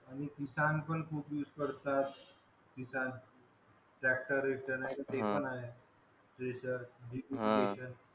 पण खूप यूज करतात ते पण आहे